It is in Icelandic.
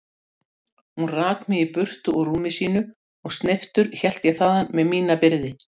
Gerðu þér ljóst að á vegi þínum munu verða mörg ljón og miklir örðugleikar.